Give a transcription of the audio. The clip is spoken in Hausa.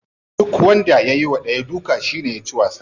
Duk wanda ya yiwa dayan duka shine yaci wasa.